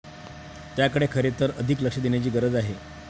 त्याकडे खरे तर अधिक लक्ष देण्याची गरज आहे.